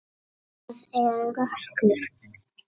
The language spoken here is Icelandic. Það er rökkur.